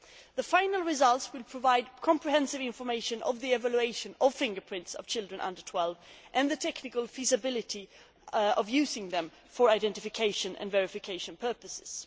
The final results will provide comprehensive information on the evolution of fingerprints of children under 12 and the technical feasibility of using them for identification and verification purposes.